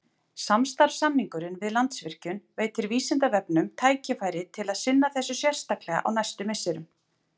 Samstarfssamningurinn við Landsvirkjun veitir Vísindavefnum tækifæri til að sinna þessu sérstaklega á næstu misserum.